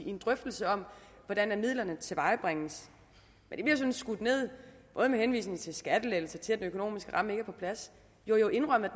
i en drøftelse om hvordan midlerne tilvejebringes men det bliver sådan skudt ned både med henvisning til skattelettelser og til at den økonomiske ramme ikke er på plads jo jo indrømmet